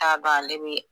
T'a dɔn ale bi